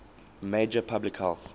major public health